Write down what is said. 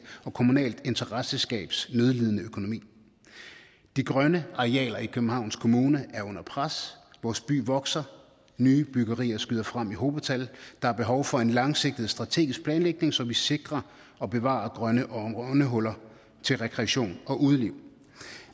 og kommunalt interessentskabs nødlidende økonomi de grønne arealer i københavns kommune er under pres vores by vokser og nye byggerier skyder frem i hobetal der er behov for en langsigtet strategisk planlægning så vi sikrer og bevarer grønne åndehuller til rekreation og udeliv